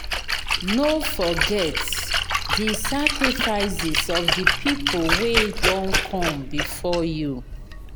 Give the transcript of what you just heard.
no forget di sacrifices of the pipo wey done come before you